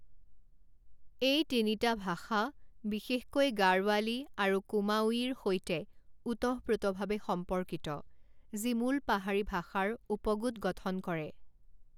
এই তিনিটা ভাষা বিশেষকৈ গাড়ৱালী আৰু কুমাওঁয়িৰ সৈতে ওতঃপ্ৰোতভাৱে সম্পৰ্কিত, যি মূল পাহাৰী ভাষাৰ উপগোট গঠন কৰে।